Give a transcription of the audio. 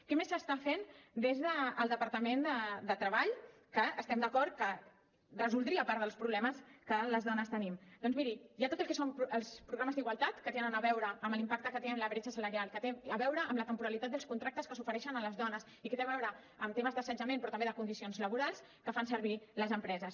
què més s’està fent des del departament de treball que estem d’acord que resoldria parts dels problemes que les dones tenim doncs miri hi ha tot el que són els programes d’igualtat que tenen a veure amb l’impacte que té en la bretxa salarial que té a veure amb la temporalitat dels contractes que s’ofereixen a les dones i que té a veure amb temes d’assetjament però també de condicions laborals que fan servir les empreses